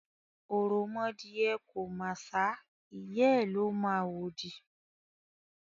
òròmọdìẹ kò màṣá, ìyá ẹ̀ ló mọ àwòdì.